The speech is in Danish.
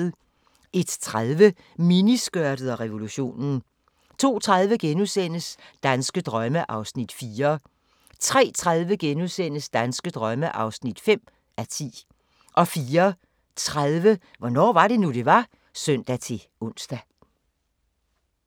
01:30: Miniskørtet og revolutionen 02:30: Danske drømme (4:10)* 03:30: Danske drømme (5:10)* 04:30: Hvornår var det nu, det var? (søn-ons)